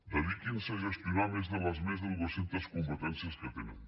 dediquin se a gestionar les més de dues centes competències que tenen